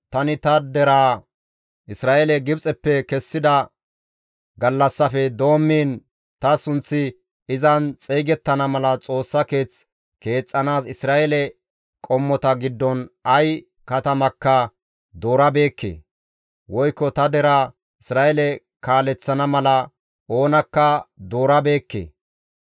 ‹Tani ta deraa Isra7eele Gibxeppe kessida gallassaafe doommiin ta sunththi izan xeygettana mala Xoossa Keeth keexxanaas Isra7eele qommota giddon ay katamakka doorabeekke; woykko ta deraa Isra7eele kaaleththana mala oonakka doorabeekke.